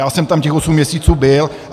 Já jsem tam těch osm měsíců byl.